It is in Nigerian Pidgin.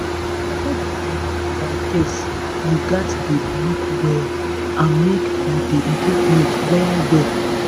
e no be by guess you gats dey look well and make you dey take note well well